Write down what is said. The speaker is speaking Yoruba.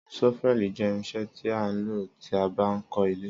Sọfẹli jẹ ìrínsẹ tí a ń lo tí a bá ń kó ilé